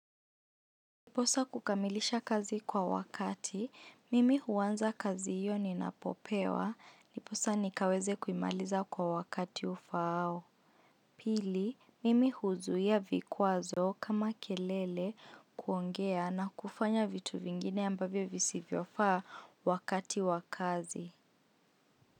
Ndiposa kukamilisha kazi kwa wakati, mimi huanza kazi hiyo ni napopewa, ndiposa nikaweze kumaliza kwa wakati ufaao. Pili, mimi huzuia vikwazo kama kelele kuongea na kufanya vitu vingine ambavyo visivyo faa wakati wakazi.